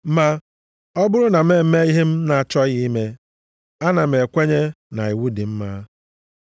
Ma ọ bụrụ na m eme ihe m na-achọghị ime, ana m ekwenye na iwu dị mma.